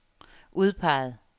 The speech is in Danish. udpeget